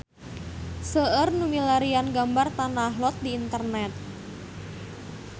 Seueur nu milarian gambar Tanah Lot di internet